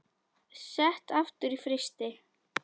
Sett aftur í frysti.